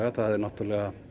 það eru væntanlega